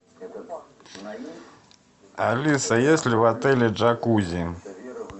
алиса есть ли в отеле джакузи